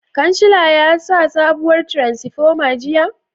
Kancila ya sa sabuwar tiransifoma jiya?